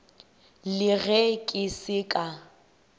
le ge ke se ka